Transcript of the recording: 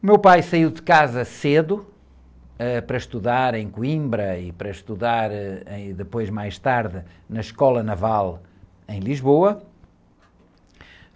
O meu pai saiu de casa cedo, ãh, para estudar em Coimbra e para estudar, ãh, aí, depois mais tarde na escola naval em Lisboa.